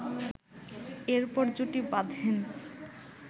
এরপর জুটি বাঁধেন